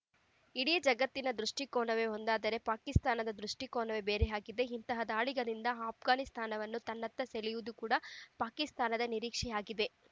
ಇಡೀ ಜಗತ್ತಿನ ದೃಷ್ಟಿಕೋನವೇ ಒಂದಾದರೆ ಪಾಕಿಸ್ತಾನದ ದೃಷ್ಟಿಕೋನವೇ ಬೇರೆಯದಾಗಿದೆ ಇಂತಹ ದಾಳಿಗಳಿಂದ ಆಘ್ಘಾನಿಸ್ತಾನವನ್ನು ತನ್ನತ್ತ ಸೆಳೆಯುವುದು ಕೂಡ ಪಾಕಿಸ್ತಾನದ ನಿರೀಕ್ಷೆಯಾಗಿದೆ